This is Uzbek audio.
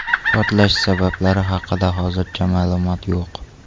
Portlash sabablari haqida hozircha ma’lumot yo‘q.